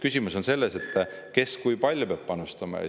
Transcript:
Küsimus on lihtsalt selles, kes ja kui palju peab panustama.